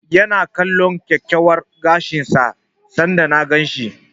Ya na kalllon kyakkyawan gashin sa sanda na gan shi.